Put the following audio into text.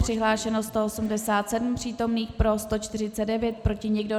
Přihlášeno 187 přítomných, pro 149, proti nikdo.